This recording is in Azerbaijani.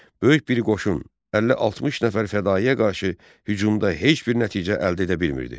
Böyük bir qoşun 50-60 nəfər fədaiyə qarşı hücumda heç bir nəticə əldə edə bilmirdi.